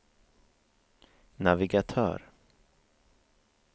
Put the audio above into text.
navigatör